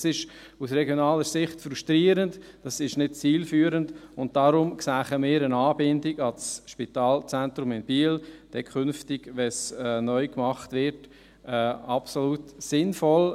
Das ist aus regionaler Sicht frustrierend, es ist nicht zielführend, und deshalb sähen wir eine Anbindung an das Spitalzentrum in Biel, künftig, wenn es neu gemacht wird, als absolut sinnvoll;